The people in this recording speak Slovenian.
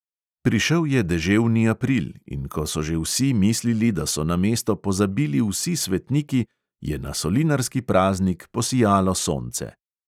Prišel je deževni april in ko so že vsi mislili, da so na mesto pozabili vsi svetniki, je na solinarski praznik posijalo sonce.